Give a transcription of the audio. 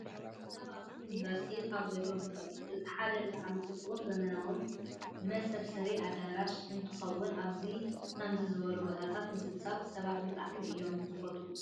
ኣብ ኣክሱም ዩኒቨርሲቲ ካብ ዘለው ህንፃታት እቲ ሓደ ብጣዕሚ ፅቡቅን ዘበናውን መሰብሰቢ ኣዳራሽ እንትኾውን ኣብ ከምዚ ዝበሉ ቦታታት ምስብሳብ ሰባት ብጣዕሚ እዮም ዝፈትዉ።